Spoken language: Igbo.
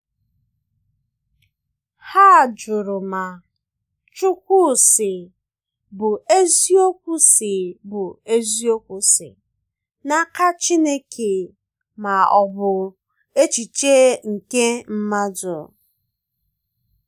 hà jụrụ ma “chukwu sị” bụ eziokwu si bụ eziokwu si n’aka chineke ma ọ bụ echiche nke mmadụ.